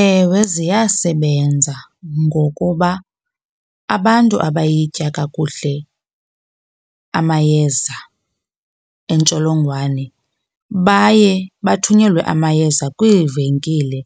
Ewe, ziyasebenza ngokuba abantu abayitya kakuhle amayeza entsholongwane baye bathunyelwe amayeza kwiivenkile